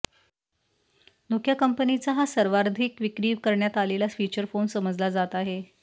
Nokia कंपनीचा हा सर्वाधिक विक्री करण्यात आलेला फिचर फोन समजला जात आहे